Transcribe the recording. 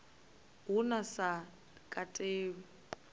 hu na zwi sa katelwi